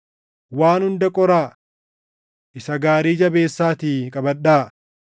waan hunda qoraa. Isa gaarii jabeessaatii qabadhaa.